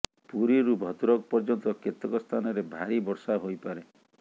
ପୁରୀରୁ ଭଦ୍ରକ ପର୍ଯ୍ୟନ୍ତ କେତେକ ସ୍ଥାନରେ ଭାରି ବର୍ଷା ହୋଇପାରେ